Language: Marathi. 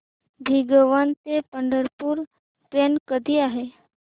भिगवण ते पंढरपूर ट्रेन कधी आहे